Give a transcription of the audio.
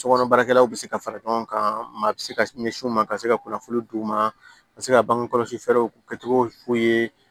Sokɔnɔ baarakɛlaw bɛ se ka fara ɲɔgɔn kan maa bɛ se ka ɲɛsin u ma ka se ka kunnafoni di u ma a bɛ se ka bange kɔlɔsi fɛɛrɛw kɛcogo f'u ye